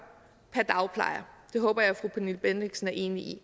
per dagplejer det håber jeg at fru pernille bendixen er enig i